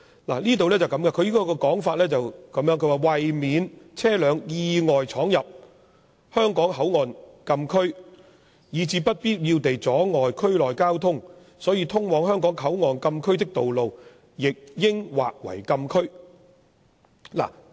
立法會參考資料摘要是這樣寫的："為免車輛意外闖入香港口岸禁區，以致不必要地阻礙區內交通，通往香港口岸禁區的道路亦應劃為禁區"。